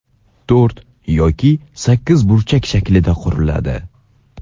to‘rt yoki sakkiz burchak shaklida quriladi.